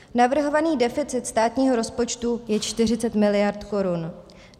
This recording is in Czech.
Navrhovaný deficit státního rozpočtu je 40 mld. korun.